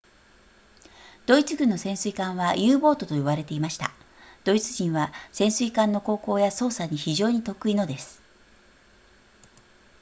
ドイツ軍の潜水艦は u ボートと呼ばれていましたドイツ人は潜水艦の航行や操作に非常に得意のです